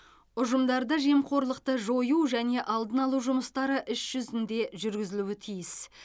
ұжымдарда жемқорлықты жою және алдын алу жұмыстары іс жүзінде жүргізілуі тиіс